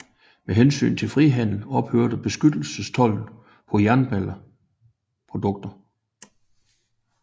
Med hensyn til frihandel ophørte beskyttelsestolden på jernprodukter